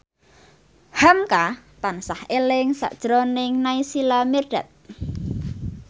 hamka tansah eling sakjroning Naysila Mirdad